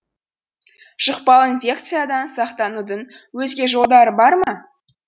жұқпалы инфекциядан сақтанудың өзге жолдары бар ма